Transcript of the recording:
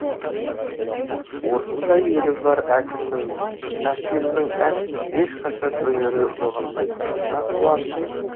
осындай елі бар әкімнің әкемнің ешқашан өнері жоғалмайтынына қуаныштымын